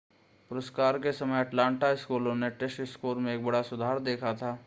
पुरस्कार के समय अटलांटा स्कूलों ने टेस्ट स्कोर में एक बड़ा सुधार देखा था